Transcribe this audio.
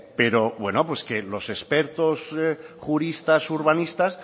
pero que los expertos juristas urbanistas